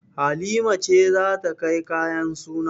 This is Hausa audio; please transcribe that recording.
Halima ce za ta kai kayan suna.